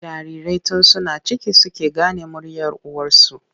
Jarirai tun suna ciki suke gane muryar uwarsu.